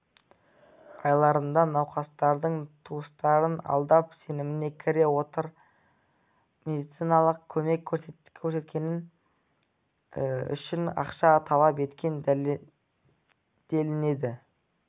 айларында науқастардың туыстарын алдап сеніміне кіре отырып медициналық көмек көрсеткені үшін ақша талап еткен делінеді